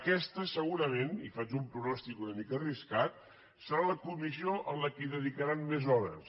aquesta és segurament i faig un pronòstic una mica arriscat la comissió a la qual dedicaran més hores